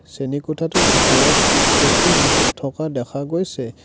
শ্ৰেণীকোঠাটোৰ ভিতৰত চকী মেজ থকা দেখা গৈছে।